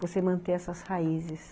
Você manter essas raízes.